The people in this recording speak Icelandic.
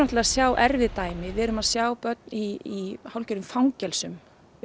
að sjá erfið dæmi við erum að sjá börn í hálfgerðum fangelsum